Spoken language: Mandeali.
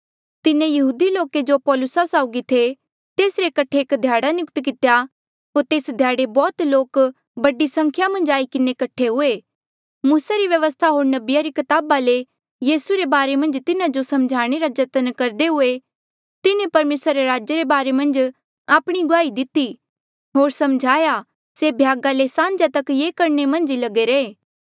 तिन्हें यहूदी लोके जो पौलुसा साउगी थे तेसरे कठे एक ध्याड़ा नियुक्त कितेया होर तेस ध्याड़े बौह्त लोक बड़ी संख्या मन्झ आई किन्हें कठे हुए मूसा री व्यवस्था होर नबिया री कताबा ले यीसू रे बारे मन्झ तिन्हा जो समझाणे रा जतन करदे हुए तिन्हें परमेसरा रे राजा रे बारे मन्झ आपणी गुआही दिती होर समझाया से भ्यागा ले साह्न्जा तक ये करणे मन्झ ई लगे रहे